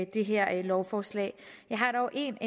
det her lovforslag jeg har dog en